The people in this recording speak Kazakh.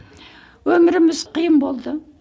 өміріміз қиын болды